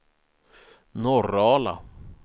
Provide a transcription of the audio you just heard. Norrala